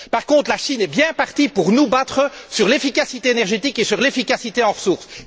Par contre, la Chine est bien partie pour nous battre sur l'efficacité énergétique et sur l'efficacité des ressources.